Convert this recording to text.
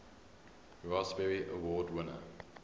raspberry award winners